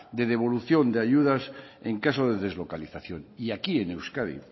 de devolución de ayudas en caso de deslocalización y aquí en euskadi